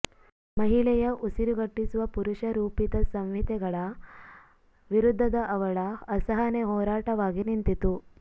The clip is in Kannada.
ಮಹಿಳೆಯ ಉಸಿರುಗಟ್ಟಿಸುವ ಪುರುಷ ರೂಪಿತ ಸಂಹಿತೆಗಳ ವಿರುದ್ಧದ ಅವಳ ಅಸಹನೆ ಹೋರಾಟವಾಗಿ ನಿಂತಿತು